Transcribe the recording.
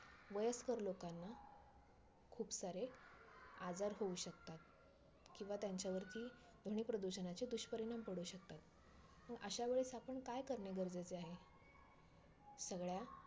IPl मधेआता lpl जेव्हा sony channel मध्ये होते तेंव्हा बघायला खूपच मज्जा येते पण आता star sports star sports मध्ये आल्यापासून